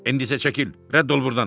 İndi isə çəkil, rədd ol burdan!